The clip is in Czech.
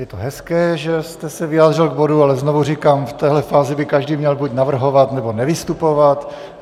Je to hezké, že jste se vyjádřil k bodu, ale znovu říkám, v téhle fázi by každý měl buď navrhovat, nebo nevystupovat.